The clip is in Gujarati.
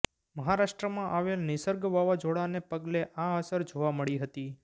મહારાષ્ટ્રમાં આવેલ નિસર્ગ વાવાઝોડાને પગલે આ અસર જોવા મળી હતી